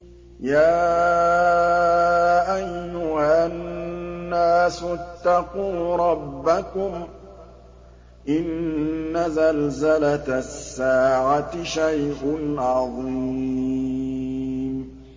يَا أَيُّهَا النَّاسُ اتَّقُوا رَبَّكُمْ ۚ إِنَّ زَلْزَلَةَ السَّاعَةِ شَيْءٌ عَظِيمٌ